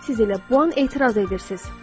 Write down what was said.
Siz elə bu an etiraz edirsiniz.